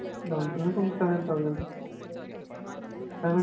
Down payment ಒಂದ್ seven thousand, seven.